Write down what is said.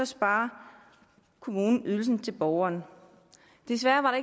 sparer kommunen ydelsen til borgeren desværre var